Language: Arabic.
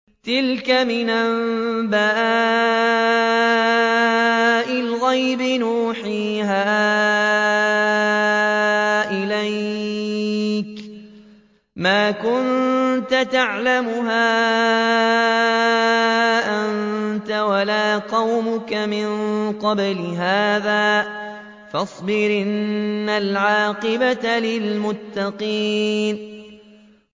تِلْكَ مِنْ أَنبَاءِ الْغَيْبِ نُوحِيهَا إِلَيْكَ ۖ مَا كُنتَ تَعْلَمُهَا أَنتَ وَلَا قَوْمُكَ مِن قَبْلِ هَٰذَا ۖ فَاصْبِرْ ۖ إِنَّ الْعَاقِبَةَ لِلْمُتَّقِينَ